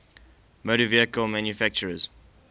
motor vehicle manufacturers